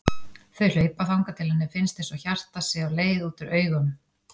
Þau hlaupa þangað til henni finnst einsog hjartað sé á leið út úr augunum.